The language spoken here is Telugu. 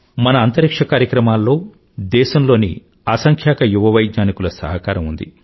మన అంతరిక్ష్య కార్యక్రమాల్లో దేశంలోని అసంఖ్యాక యువ వైజ్ఞానికుల సహకారం ఉంది